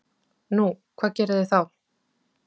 Nú, hvað gerið þið þá?